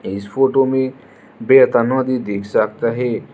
इस फोटो में दिख सकता है।